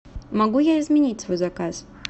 могу я изменить свой заказ